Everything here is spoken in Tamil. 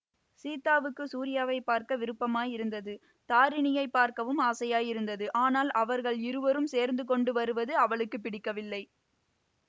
சீதாவுக்குச் சூரியாவை பார்க்க விருப்பமாயிருந்தது தாரிணியைப் பார்க்கவும் ஆசையாயிருந்தது ஆனால் அவர்கள் இருவரும் சேர்ந்துகொண்டு வருவது அவளுக்கு பிடிக்கவில்லை